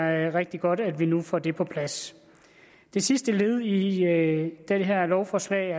er rigtig godt at vi nu får det på plads det sidste led i det her lovforslag